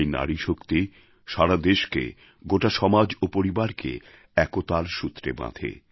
এই নারীশক্তি সারা দেশকে গোটা সমাজ এবং পরিবারকে একতার সূত্রে বাঁধে